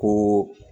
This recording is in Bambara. Ko